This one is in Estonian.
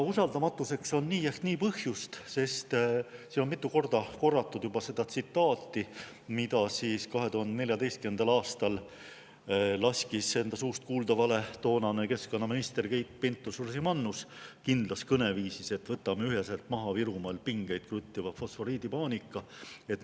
Usaldamatuseks on nii ehk nii põhjust: juba mitu korda on korratud seda tsitaati, mille 2014. aastal laskis enda suust kuuldavale toonane keskkonnaminister Keit Pentus-Rosimannus kindlas kõneviisis, et võtame üheselt maha Virumaal pingeid kruttiva fosforiidipaanika.